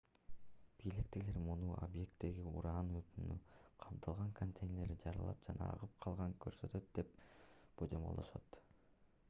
бийликтегилер муну объекттеги уран отуну камтылган контейнерлер жарылып жана агып калганын көрсөтөт деп божомолдошот